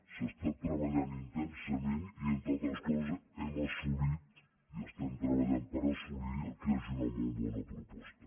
s’ha estat treballant intensament i entre altres coses hem assolit i estem treballant per assolir que hi hagi una molt bona proposta